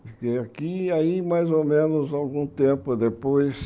Fiquei aqui e aí mais ou menos algum tempo depois...